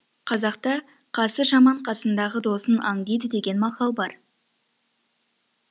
қазақта қасы жаман қасындағы досын аңдиды деген мақал бар